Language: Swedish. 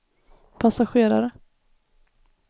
passagerare